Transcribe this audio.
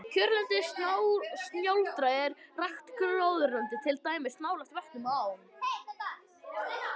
Kjörlendi snjáldra er rakt gróðurlendi, til dæmis nálægt vötnum og ám.